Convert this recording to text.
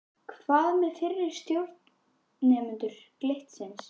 Hvað með fyrri stjórnendur Glitnis?